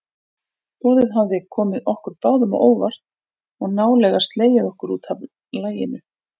Boðið hafði komið okkur báðum á óvart og nálega slegið okkur útaf laginu.